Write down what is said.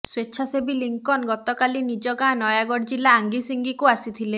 ସ୍ୱେଚ୍ଛାସେବୀ ଲିଙ୍କନ ଗତକାଲି ନିଜ ଗାଁ ନୟାଗଡ଼ ଜିଲ୍ଲା ଆଙ୍ଗିସିଙ୍ଗିକୁ ଆସିଥିଲେ